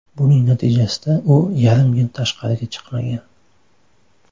Buning natijasida u yarim yil tashqariga chiqmagan.